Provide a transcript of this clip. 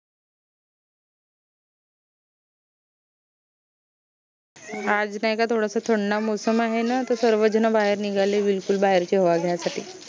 आज नाई का थोडस थंडा मोसम आहे न त स्वर झन बाहेर निघाले बिलकुल बाहेरची हवा घ्या साठी